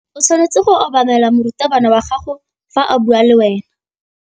O tshwanetse go obamela morutabana wa gago fa a bua le wena.